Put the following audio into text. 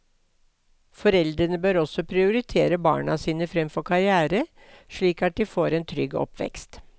Foreldrene bør også prioritere barna sine fremfor karrière, slik at de får en trygg oppvekst.